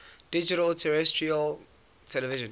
digital terrestrial television